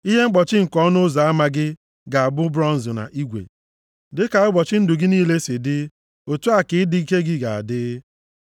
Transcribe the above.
Ihe mkpọchi nke ọnụ ụzọ ama gị ga-abụ bronz na igwe, dịka ụbọchị ndụ gị niile si dị, otu a ka ịdị ike gị ga-adị.